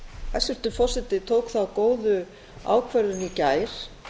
hæstvirtur forseti tók þá góðu ákvörðun í gær